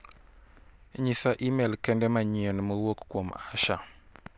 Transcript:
Nyisa imel kende manyien mowuok kuom Asha.